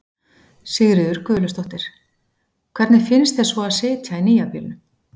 Sigríður Guðlaugsdóttir: Hvernig finnst þér svo að sitja í nýja bílnum?